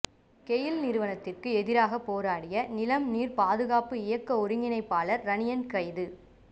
கெயில் நிறுவனத்துக்கு எதிராக போராடிய நிலம் நீர் பாதுகாப்பு இயக்க ஒருங்கிணைப்பாளர் இரணியன் கைது